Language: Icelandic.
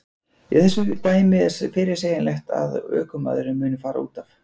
Í þessu dæmi er fyrirsegjanlegt að ökumaðurinn muni fara útaf.